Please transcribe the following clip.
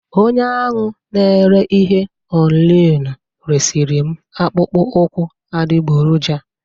Onye ahụ n'ere ihe ọlinu resiri m akpụkpọ ụkwụ adigboroja